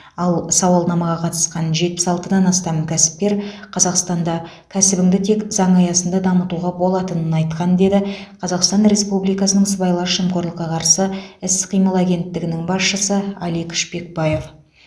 ал сауалнамаға қатысқан жетпіс алтыдан астам кәсіпкер қазақстанда кәсібіңді тек заң аясында дамытуға болатынын айтқан деді қазақстан республикасының сыбайлас жемқорлыққа қарсы іс қимыл агенттігінің басшысы алик шпекбаев